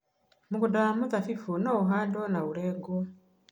Mũgũnda wa mĩthabibũ no ũhandwo na ũrengwo